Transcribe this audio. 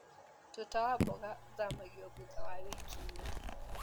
Tuta wa mboga ũthamagio thutha wa wiki inya.